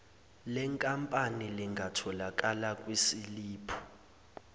lenkampani lingatholakala kwisiliphu